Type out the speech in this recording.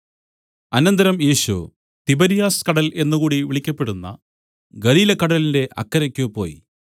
അനന്തരം യേശു തിബര്യാസ് കടൽ എന്നുകൂടി വിളിക്കപ്പെടുന്ന ഗലീലക്കടലിന്റെ അക്കരയ്ക്ക് പോയി